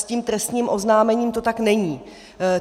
S tím trestním oznámením to tak není.